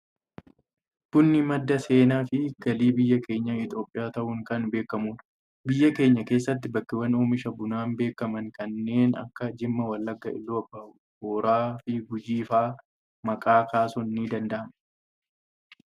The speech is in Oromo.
Bunni madda seenaa fi galii biyya keenya Itoophiyaa ta'uun kan beekamudha. Biyya keenya keessatti bakkeewwan oomisha bunaan beekaman kanneen akka Jimmaa, Wallagga, Iluu abbaa booraa fi Gujii fa'aa maqaa kaasuun ni danda'ama.